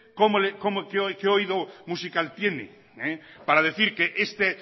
qué oído musical tiene para decir que